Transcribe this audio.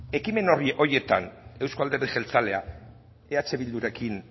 ekimen horietan euzko alderdi jeltzalea eh bildurekin